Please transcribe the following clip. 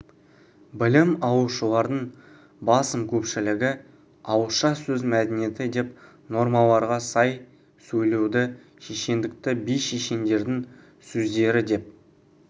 білім алушылардың басым көпшілігі ауызша сөз мәдениеті деп нормаларға сай сөйлеуді шешендікті би-шешендердің сөздері деп